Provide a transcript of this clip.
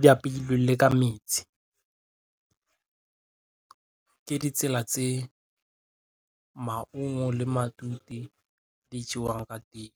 di apeilwe le ka metsi ke ditsela tse maungo le matute di jewang ka teng.